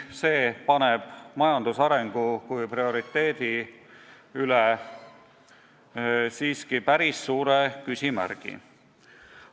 See paneb majandusarengu kui prioriteedi siiski päris suure küsimärgi alla.